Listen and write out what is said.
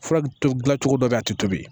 Fura to dila cogo dɔ bɛ yen a tɛ tobi